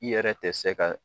I yɛrɛ tɛ se ka